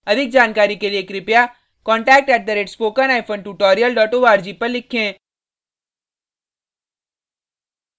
अधिक जानकारी के लिए spoken hyphen tutorial dot org पर लिखें